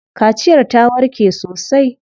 Kaciyar ta warke sosai.